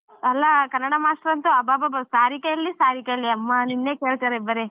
ಅಲ್ಲಾ ಕನ್ನಡ ಮಾಸ್ತರ್ ಅಂತ್ರು ಅಬ್ಬಬ್ಬಬ್ಬಾ ಸಾರಿಕಾ ಎಲ್ಲಿ ಸಾರಿಕಾ ಎಲ್ಲಿ ಅಮ್ಮಾ ನಿನ್ನೇ ಕೇಳ್ತಾರೆ ಬರೆ.